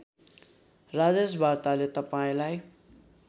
राजेश वार्ताले तपाईँलाई